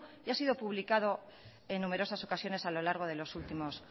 y ha sido publicado en numerosas ocasiones a lo largo de los últimos